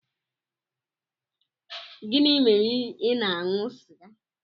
Gịnị mere ị na-aṅụ sịga?